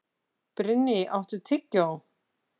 Brynný, áttu tyggjó?